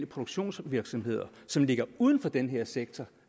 produktionsvirksomheder som ligger uden for den her sektor